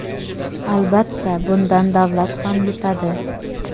Albatta, bundan davlat ham yutadi.